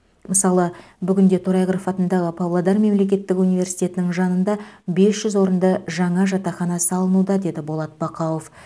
мысалы бүгінде торайғыров атындағы павлодар мемлекеттік университетінің жанында бес жүз орынды жаңа жатақхана салынуда деді болат бақауов